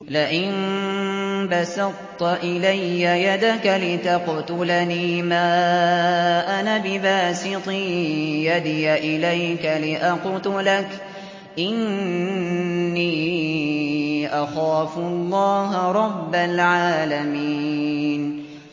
لَئِن بَسَطتَ إِلَيَّ يَدَكَ لِتَقْتُلَنِي مَا أَنَا بِبَاسِطٍ يَدِيَ إِلَيْكَ لِأَقْتُلَكَ ۖ إِنِّي أَخَافُ اللَّهَ رَبَّ الْعَالَمِينَ